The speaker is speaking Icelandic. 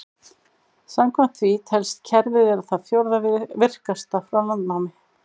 Samkvæmt því telst kerfið vera það fjórða virkasta frá landnámi.